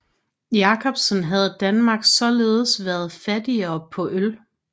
Jacobsen havde Danmark således været fattigere på øl